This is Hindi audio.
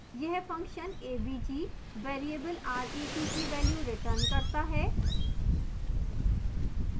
यह function avg variable ret की value returns करता है